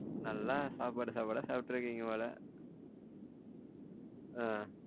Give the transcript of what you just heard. நல்ல சாப்பாடு சாப்பாடா சாப்பிட்டு இருக்கீங்க போல ஆஹ்